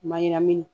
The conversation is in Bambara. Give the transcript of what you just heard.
Mayiram